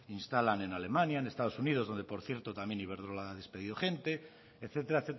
instalan en alemania en estados unidos donde por cierto también iberdrola ha despedido gente etcétera